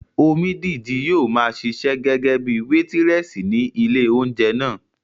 Omídìji yóò maa ṣiṣẹ́ gẹ́gẹ́bíi wétírẹ̀sì ní ilé óúnjẹ náà